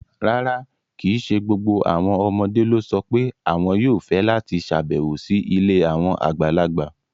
Rárá, kì í ṣe gbogbo àwọn ọmọdé ló sọ pé àwọn yóò fẹ́ láti ṣàbẹ̀wò sí ilé àwọn àgbàlagbà.